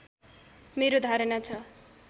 मेरो धारणा छ